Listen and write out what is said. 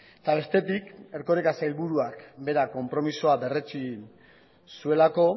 eta bestetik erkoreka sailburuak berak konpromisoa berretsi zuelako